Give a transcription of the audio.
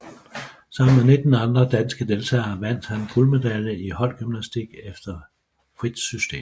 Sammen med 19 andre danske deltagere vandt han guldmedalje i holdgymnastik efter frit system